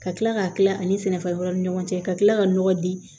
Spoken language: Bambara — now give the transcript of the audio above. Ka tila k'a tila ani sɛnɛfɛn wɛrɛw ni ɲɔgɔn cɛ ka kila ka nɔgɔ di